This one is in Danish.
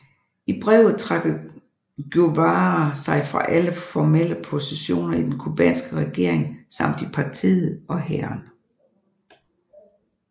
I brevet trækker Guevara sig fra alle formelle positioner i den cubanske regering samt i partiet og hæren